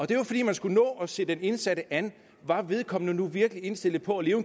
det var fordi man skulle nå at se den indsatte an var vedkommende nu virkelig indstillet på at leve